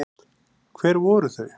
Hver voru þau?